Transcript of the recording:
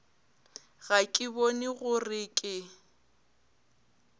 ga ke bone gore ke